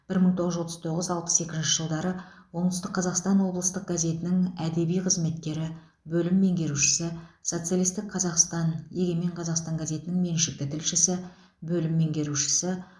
бір мың тоғыз жүз отыз тоғыз алпыс екінші жылдары оңтүстік қазақстан облыстық газетінің әдеби қызметкері бөлім меңгерушісі социалистік қазақстан егемен қазақстан газетінің меншікті тілшісі бөлім меңгерушісі